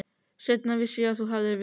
Seinna vissi ég að þú hefðir veikst.